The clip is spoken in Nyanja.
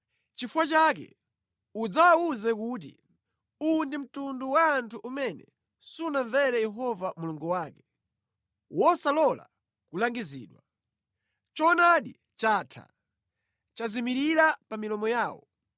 Nʼchifukwa chake udzawawuze kuti, ‘Uwu ndi mtundu wa anthu umene sunamvere Yehova Mulungu wake, wosalola kulangizidwa. Choonadi chatha; chazimirira pa milomo yawo.’